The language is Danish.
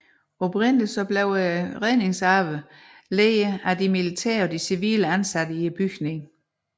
Oprindeligt blev redningsarbejdet ledet af de militære og civile ansatte i bygningen